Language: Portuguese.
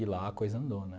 E lá a coisa andou, né?